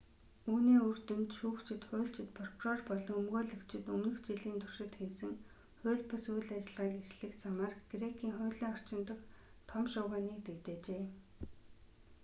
үүний үр дүнд шүүгчид хуульчид прокурор болон өмгөөлөгчид өмнөх жилийн туршид хийсэн хууль бус үйл ажиллагааг илчлэх замаар грекийн хуулийн орчин дахь том шуугианыг дэгдээжээ